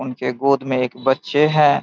उनके गोद में एक बच्चे है।